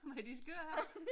Med de skøre her